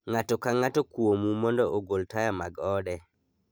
Ng'ato ka ng'ato kuomu mondo ogol taya mag ode.